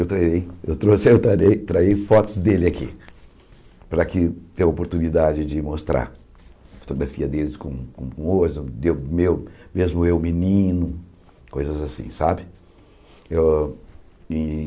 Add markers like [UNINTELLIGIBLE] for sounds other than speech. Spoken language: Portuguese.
Eu trarei eu trouxe eu trarei traí fotos dele aqui, para que ter a oportunidade de mostrar a fotografia dele com o, [UNINTELLIGIBLE] eu eu mesmo eu menino, coisas assim, sabe? Eu e